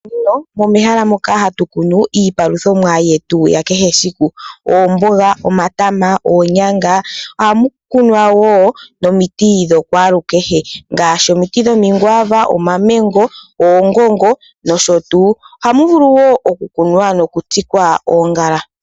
Moshikunino omo mehala moka hatu kunumo iipaluthomwa yetu yakehe esiku. Oomboga, omatama, oonyanga, ohamu kunwa wo nomiti dhuukwalukehe ngaashi omiti dhomikwaava, omamengo, oongongo nosho tuu. Ohamu vulu wo oku kunwa nokutsikwa oongala.